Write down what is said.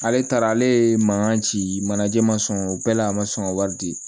Ale taara ale mankan ci manajɛ ma sɔn bɛɛ la a ma sɔn ka wari di